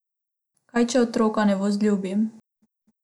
Kaj, če otroka ne vzljubim?